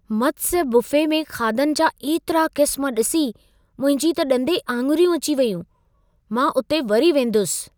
मत्स्य buffet में खाधनि जा एतिरा क़िस्म ॾिसी मुंहिंजी त ॾंदे आङुरियूं अची वेयूं। मां उते वरी वेंदुसि।